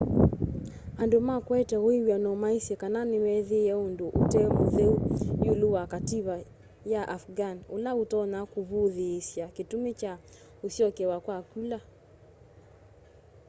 andu ma kuete wiw'ano maisye kana nimeethiie undu ute mutheu iulu wa kativa ka afghan ula utonya kuvuthiisya kitumi kya usyokewa kwa kula